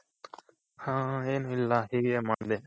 ಹಾ ಏನಿಲ್ಲ ಹೀಗೆ ಮಾಡ್ದೆ